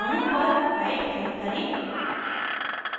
अणु पर right click करें